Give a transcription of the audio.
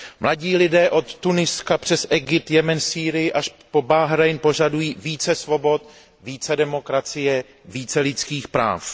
Mladí lidé od Tuniska přes Egypt, Jemen, Sýrii až po Bahrajn požadují více svobod, více demokracie, více lidských práv.